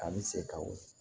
A bɛ se ka wuli